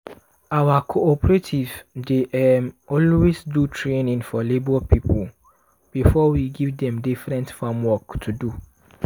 our cooperative dey um always do training for labor people before we give dem different farm work to do.